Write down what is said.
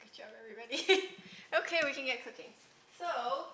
Good job everybody. Okay, we can get cooking. So